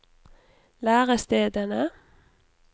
lærestedene